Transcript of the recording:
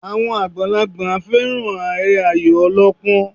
Àwọn àgbàlagbà fẹ́ràn eré Ayò ọlọ́pọ́n